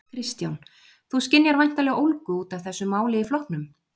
Kristján: Þú skynjar væntanlega ólgu út af þessu máli í flokknum?